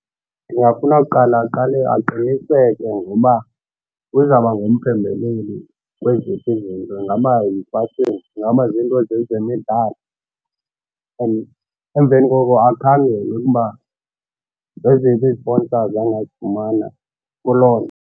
Ndingafuna kuqala aqale aqiniseke ngoba uzawuba ngumphembeleli kweziphi zinto. Ingaba ingaba ziinto zezemidlalo and emveni koko akhangele ukuba zeziphi iziponsazi angazufumana kuloo nto.